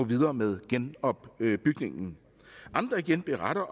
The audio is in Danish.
videre med genopbygningen andre igen beretter